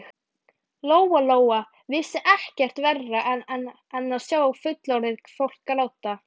Lóa Lóa vissi ekkert verra en að sjá fullorðið fólk gráta.